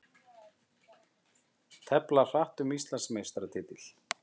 Tefla hratt um Íslandsmeistaratitil